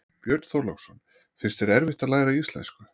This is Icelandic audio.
Björn Þorláksson: Finnst þér erfitt að læra íslensku?